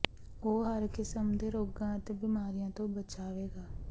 ਉਹ ਹਰ ਕਿਸਮ ਦੇ ਰੋਗਾਂ ਅਤੇ ਬਿਮਾਰੀਆਂ ਤੋਂ ਬਚਾਵੇਗਾ